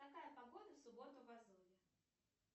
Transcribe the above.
какая погода в субботу в азове